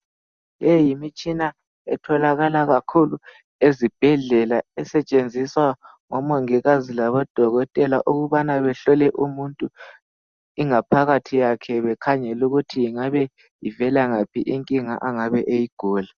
Leyi yimitshina etholakala kakhulu ezibhedlela esetshenziswa ngomongikazi labodokotela ukubana behlole umuntu ingaphakathi yakhe bekhangele ukuthi ingabe ivela ngaphi inkinga angabe eyigula.